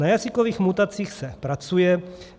Na jazykových mutacích se pracuje.